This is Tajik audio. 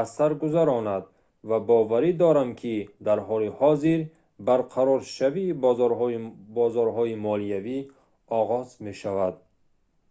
аз сар гузаронд ва боварӣ дорам ки дар ҳоли ҳозир барқароршавии бозорҳои молиявӣ оғоз мешавад